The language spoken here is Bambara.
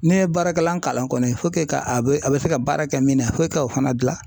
Ne ye baarakɛlan kalan kɔni ka a bɛ a bɛ se ka baara kɛ min na fo e ka o fana dilan.